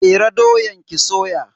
Fere doyan ki soya.